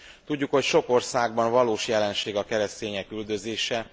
Tudjuk, hogy sok országban valós jelenség a keresztények üldözése.